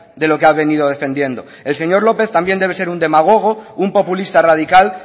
de lo que ha venido defendiendo el señor lópez también debe ser un demagogo un populista radical